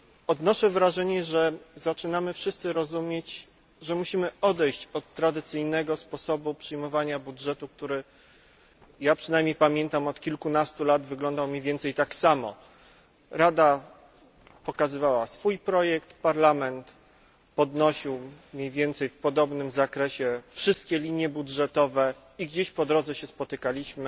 Odnoszę wrażenie, że zaczynamy wszyscy rozumieć potrzebę odejścia od tradycyjnego sposobu przyjmowania budżetu, który ja przynajmniej pamiętam od kilkunastu lat wyglądał mniej więcej tak samo Rada przedstawiała swój projekt, Parlament podnosił mniej więcej w podobnym zakresie wszystkie linie budżetowe i gdzieś po drodze się spotykaliśmy.